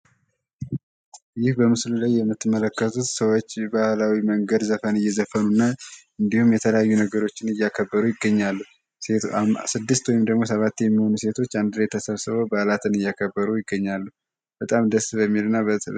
ይህ በምስሉ ላይ የምትመለከቱት ሰዎች ባህላዊ መንገድ ዘፈን እየዘፈኑ እና እንዲሁም የተለያዩ ነገሮችን እያከበሩ ይገኛሉ። ስድስት ወይም ደግሞ ሰባት የሚሆኑ ሴቶች አንድ ላይ ተሰብስበው በዓላትን እያከበሩ ይገኛሉ። በጣም ደስ በሚል እና